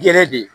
Gɛrɛ de